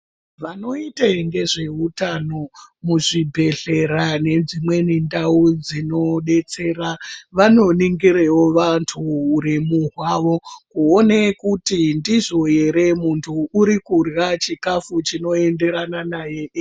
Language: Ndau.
Vanoite ngezveutano muzvibhedhlera nedzimweni ndau dzinodetsera vanoningirewo vantu uremu hwavo, kuone kuti ndizvo here muntu uri kurya chikafu chinoenderana naye ere.